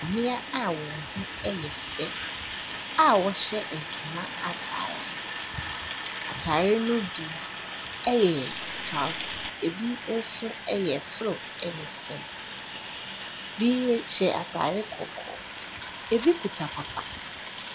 Mmea a wɔn ho yɛ fɛ a wɔhyɛ ntoma atare. Atare no bi yɛ touser, ɛbi nso yɛ soro ne fam. Bi rehyɛ atare kɔkɔɔ. Ɛbi kuta papa.